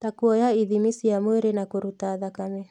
Ta kuoya ithimi cia mwĩrĩ na kũruta thakame